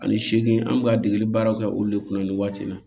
Ani seegin an bɛ ka degeli baaraw kɛ olu de kunna nin waati in na